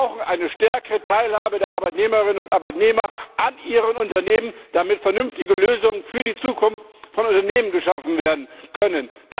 Wir brauchen eine stärkere Teilhabe der Arbeitnehmerinnen und Arbeitnehmer an ihren Unternehmen, damit vernünftige Lösungen für die Zukunft von Unternehmen geschaffen werden können.